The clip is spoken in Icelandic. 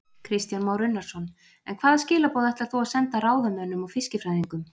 Kristján Már Unnarsson: En hvaða skilaboð ætlar þú að senda ráðamönnum og fiskifræðingum?